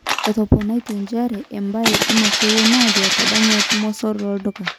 Etoponayie nchere''Embae emakewon ajo etadanywaki mosor loduka.